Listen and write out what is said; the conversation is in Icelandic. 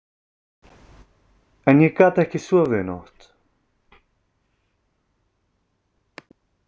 En ég gat ekki sofið í nótt.